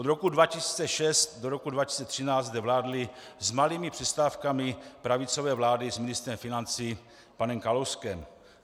Od roku 2006 do roku 2013 zde vládly s malými přestávkami pravicové vlády s ministrem financí panem Kalouskem.